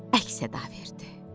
Əks-səda verdi.